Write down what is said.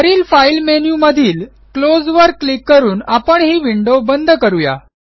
वरील फाईल मेनूमधील क्लोज वर क्लिक करून आपण ही विंडो बंद करू या